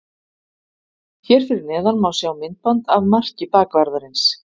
Hér fyrir neðan má sjá myndband af marki bakvarðarins.